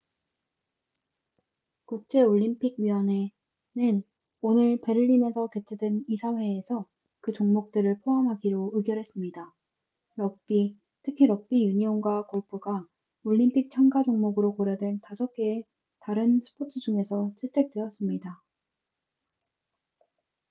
국제 올림 픽위원회 ioc는 오늘 베를린에서 개최된 이사회에서 그 종목들을 포함하기로 의결했습니다. 럭비 특히 럭비 유니온과 골프가 올림픽 참가종목으로 고려된 5개의 다른 스포츠 중에서 채택되었습니다